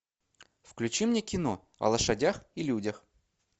включи мне кино о лошадях и людях